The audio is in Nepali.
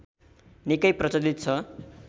निकै प्रचलित छ